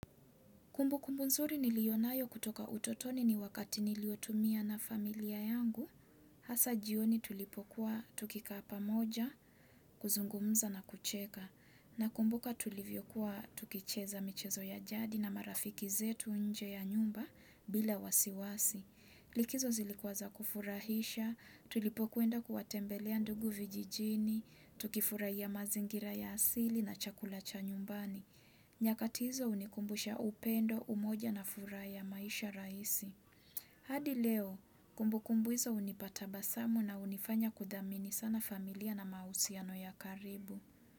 Kumbukumbu nzuri nilionayo kutoka utotoni ni wakati niliotumia na familia yangu, hasa jioni tulipokuwa tukikapa moja, kuzungumza na kucheka, nakumbuka tulivyokuwa tukicheza michezo ya jadi na marafiki zetu nje ya nyumba bila wasiwasi. Likizo zilikuwa za kufurahisha, tulipo kuenda kuwatembelea ndugu vijijini, tukifurahia mazingira ya asili na chakula cha nyumbani. Nyakati hizo unikumbusha upendo umoja na furaha ya maisha raisi. Hadi leo, kumbukumbu hizo unipa tabasamu na unifanya kudhamini sana familia na mahusiano ya karibu.